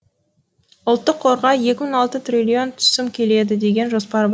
ұлттық қорға екі бүтін алты триллион түсім келеді деген жоспар бар